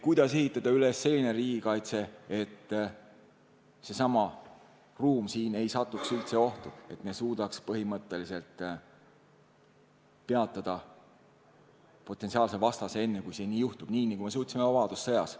... kuidas ehitada üles selline riigikaitse, et seesama ruum siin ei satuks üldse ohtu, et me suudaks põhimõtteliselt peatada potentsiaalse vastase enne, kui nii juhtub, nagu me suutsime vabadussõjas.